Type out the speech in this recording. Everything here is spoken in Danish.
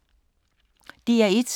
DR1